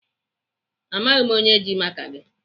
Amaghị m onye ji maka gị.